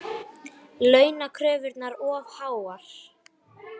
Launakröfurnar of háar